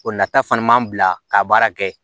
O nata fana man bila ka baara kɛ